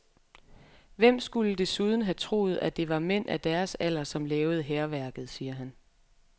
Hvem skulle desuden have troet, at det var mænd af deres alder, som lavede hærværket, siger han.